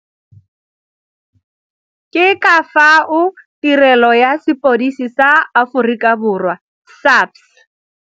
Ke ka fao Tirelo ya Sepodisi sa Aforikaborwa SAPS.